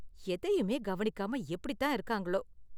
எதையுமே கவனிக்காம எப்படித் தான் இருக்காங்களோ.